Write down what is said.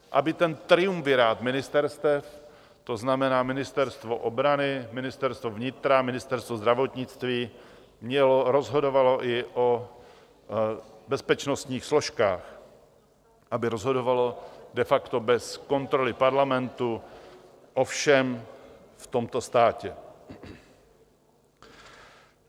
Aby ten triumvirát ministerstev, to znamená Ministerstvo obrany, Ministerstvo vnitra, Ministerstvo zdravotnictví, rozhodoval i o bezpečnostních složkách, aby rozhodoval de facto bez kontroly Parlamentu o všem v tomto státě.